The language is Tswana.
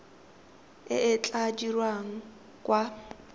e e tla dirwang kwa